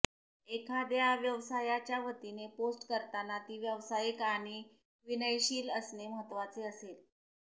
एखाद्या व्यवसायाच्या वतीने पोस्ट करताना ती व्यावसायिक आणि विनयशील असणे महत्त्वाचे असेल